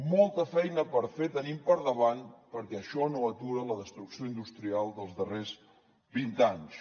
molta feina per fer tenim per davant perquè això no atura la destrucció industrial dels darrers vint anys